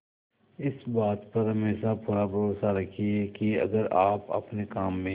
इस बात पर हमेशा पूरा भरोसा रखिये की अगर आप अपने काम में